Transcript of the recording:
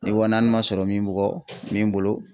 Ni wa naani man sɔrɔ min bugɔ min bolo